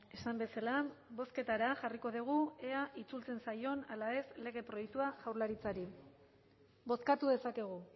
esan bezala bozketara jarriko dugu ea itzultzen zaion ala ez lege proiektua jaurlaritzari bozkatu dezakegu